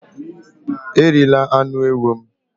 Erila anụ ewu m!